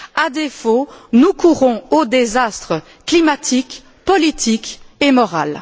À défaut, nous courons au désastre climatique, politique et moral.